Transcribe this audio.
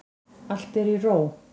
Allt er í ró.